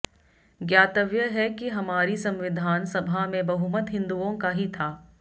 ज्ञातव्य है कि हमारी संविधान सभा में बहुमत हिंदुओं का ही था